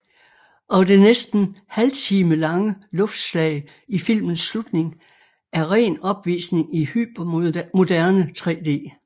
Og det næsten halvtimelange luftslag i filmens slutning er ren opvisning i hypermoderne 3D